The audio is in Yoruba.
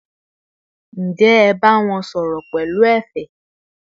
ǹjẹ́ ẹ bá wọn sọ̀rọ̀ pẹ̀lú ẹ̀fẹ̀?